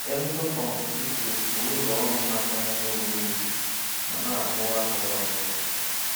Emzor Pharmaceuticals bụ ụlọ ọrụ na-akwanyere onwe ya ùgwù ma na-akwụwa aka ya ọ̀tọ́.